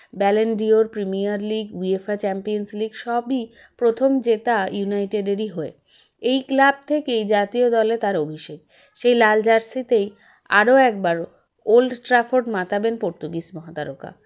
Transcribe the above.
Ballon d'Or Premier League UEFA Champions League সবই প্রথম জেতা united এর হয়ে এই club থেকেই জাতীয় দলে তার অভিষেক সে লাল jersey -তেই আরও একবারও ওল্ড ট্রাফোর্ড মাতাবেন পর্তুগিজর মহাতারকা